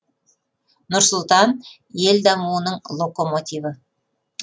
нұр сұлтан ел дамуының локомотиві